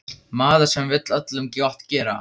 Maður sem vill öllum gott gera.